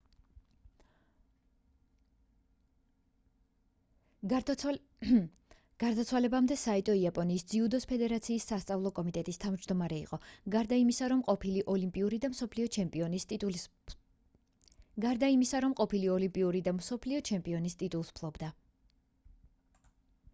გარდაცვალებამდე საიტო იაპონიის ძიუდოს ფედერაციის სასწავლო კომიტეტის თავმჯდომარე იყო გარდა იმისა რომ ის ყოფილი ოლიმპიური და მსოფლიო ჩემპიონის ტიტულს ფლობდა